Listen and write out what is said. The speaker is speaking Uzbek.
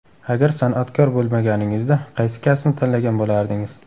Agar san’atkor bo‘lmaganingizda, qaysi kasbni tanlagan bo‘lardingiz?